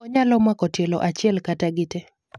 onyalo mako tielo achiel kata gitee